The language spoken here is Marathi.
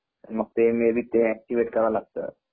मग ते मे बी ते एकटीवेट कराव लागत